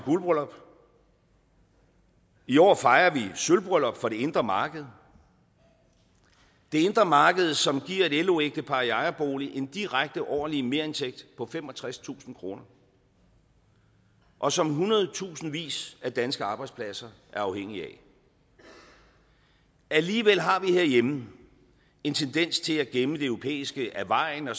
guldbryllup i år fejrer vi sølvbryllup for det indre marked det indre marked som giver et lo ægtepar i ejerbolig en direkte årlig merindtægt på femogtredstusind kr og som hundredetusindvis af danske arbejdspladser er afhængig af alligevel har vi herhjemme en tendens til at gemme det europæiske af vejen og